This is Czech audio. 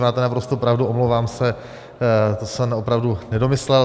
Máte naprostou pravdu, omlouvám se, to jsem opravdu nedomyslel.